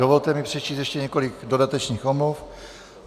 Dovolte mi přečíst ještě několik dodatečných omluv.